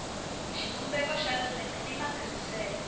xivumbeko xa ririmi ni matirhisele